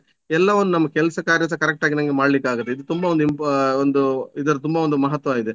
ಎಲ್ಲವನ್ನು ನಮ್ಮ ಕೆಲಸ ಕಾರ್ಯಸ correct ಆಗಿ ನಂಗೆ ಮಾಡ್ಲಿಕ್ಕಗ್ತದೆ ಇದು ತುಂಬ ಒಂದು imp~ ಆ ಒಂದು ಇದರ ತುಂಬ ಒಂದು ಮಹತ್ವ ಇದೆ.